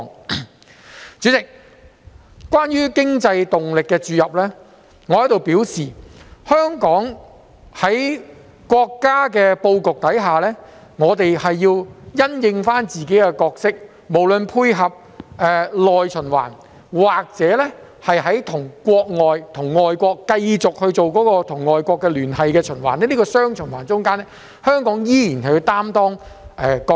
代理主席，關於經濟動力的注入，我想表示，香港在國家的布局下，我們需要因應情況擔當好自己的角色，不論是配合內循環或是與外國繼續進行聯繫循環的情況，在這雙循環中，香港依然要擔當一個角色。